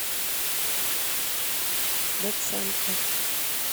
доценко